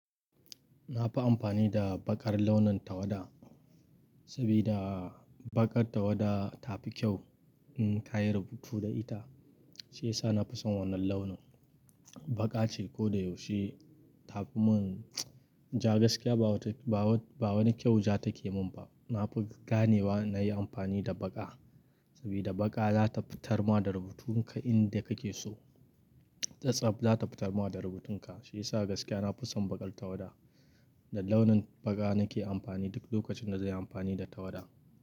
Na fi amfani da baƙar launin tawada, saboda baƙar tawada tafi kyau in ka yi rubutu da ita, shi ya sa na fi son wannan launin. Baƙa ce ko da yaushe ta fi mun ja gaskiya ba wani kyau ja take mun ba. Na fi ganewa na yi amfani da baƙa, saboda baƙa za ta fitar ma da rubutun ka inda ka ke so. Tatsaf za ta fitar ma da rubutun ka, shi ya sa gaskiya na fi son baƙar tawada. Da launin baƙa na ke amfani duk lokacin da zai yi amfani da tawada.